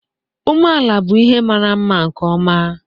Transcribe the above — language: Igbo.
Umeala bụ ihe mara mma nkeọma.